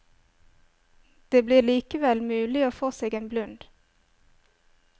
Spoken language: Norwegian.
Det blir likevel mulig å få seg en blund.